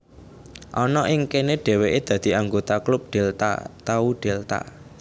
Ana ing kene dheweke dadi anggota klub Delta Tau Delta